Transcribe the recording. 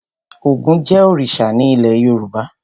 Ògún jẹ́ òrìṣà ní ilé Yorùbá.